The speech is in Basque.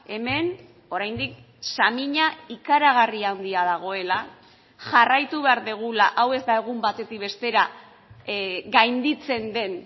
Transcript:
hemen oraindik samina ikaragarri handia dagoela jarraitu behar dugula hau ez da egun batetik bestera gainditzen den